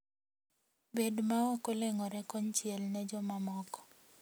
Bed maok oleng`ore konchiel ne jomamoko.